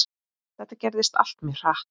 Þetta gerðist allt mjög hratt.